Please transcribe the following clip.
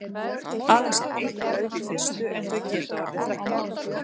Aðeins er eitt lauf í fyrstu en þau geta orðið þrettán.